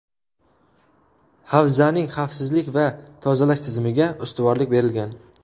Havzaning xavfsizlik va tozalash tizimiga ustuvorlik berilgan.